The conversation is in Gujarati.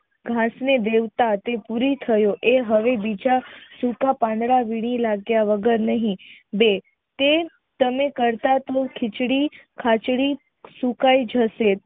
ઘાસ ને ભેરતા તે ભૂરી થયો એ હવે સૂકા પાંદડા વીણી લાગ્યા વગર નહિ બે તે તમે કરતા ખીચડી ખાચડી સુકાઈ જશે.